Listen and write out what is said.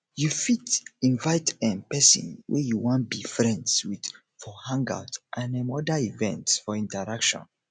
you fit invite um person wey you wan be be friends with for hangout and um oda events for interaction